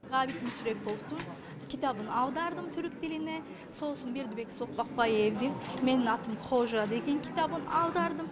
ғабит мүсіреповтің кітабын аудардым түрік тіліне сосын бердібек соқпақбаевтың менің атым қожа деген кітабын аудардым